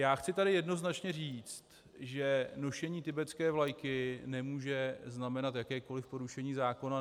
Já chci tady jednoznačně říct, že nošení tibetské vlajky nemůže znamenat jakékoliv porušení zákona.